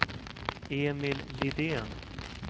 Emil Lidén